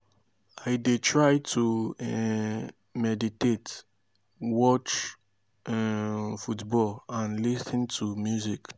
i dey try to um meditate watch um football and lis ten to music.